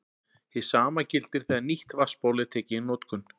Hið sama gildir þegar nýtt vatnsból er tekið í notkun.